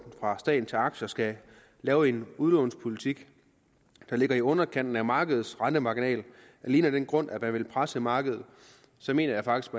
fra staten til aktier skal lave en udlånspolitik der ligger i underkanten af markedets rentemarginal alene af den grund at man vil presse markedet så mener jeg faktisk